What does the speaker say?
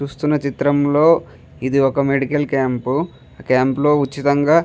చూస్తున్న చిత్రంలో ఇదొక మెడికల్ క్యాంపు ఆ క్యాంపు లో ఉచితంగా --